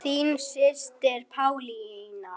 Þín systir Pálína.